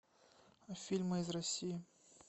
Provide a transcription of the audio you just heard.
фильмы из россии